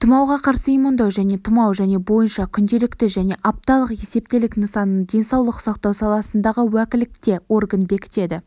тұмауға қарсы иммундау және тұмау және бойынша күнделікті және апталық есептілік нысанын денсаулық сақтау саласындағы уәкілетті орган бекітеді